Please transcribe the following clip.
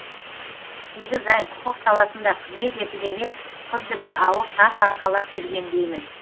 сегіз ай құқық саласында қызмет етіп емес құдды бір ауыр тас арқалап жүргендеймін